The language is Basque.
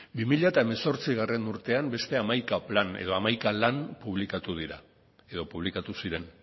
bi mila hemezortzigarrena urtean beste hamaika plan edo lan publikatu ziren